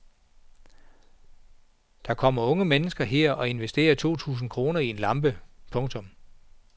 Der kommer unge mennesker her og investerer to tusind kroner i en lampe. punktum